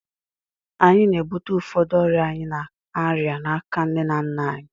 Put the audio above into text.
Anyị na-ebute ụfọdụ ọrịa anyị na-arịa n'aka nne na nna anyị